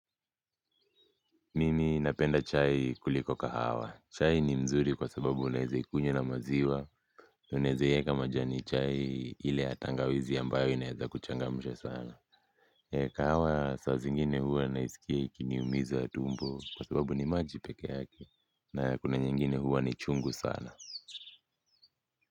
Mimi napenda chai kuliko kahawa. Chai ni mzuri kwa sababu unaeze ikunywa na maziwa. Unaeze ieka majani chai ile ya tangawizi ambayo inaeza kuchangamsha sana. Kahawa saa zingine huwa naisikia ikiniumiza tumbo kwa sababu ni maji peke yake na kuna nyingine huwa ni chungu sana.